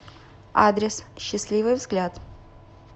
адрес счастливый взгляд